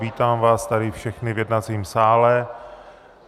Vítám vás tady všechny v jednacím sále.